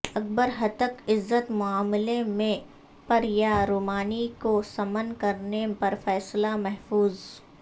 اکبر ہتک عزت معاملے میں پریا رمانی کو سمن کرنے پر فیصلہ محفوظ